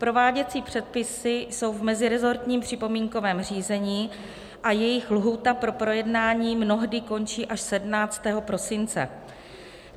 Prováděcí předpisy jsou v mezirezortním připomínkovém řízení a jejich lhůta pro projednání mnohdy končí až 17. prosince.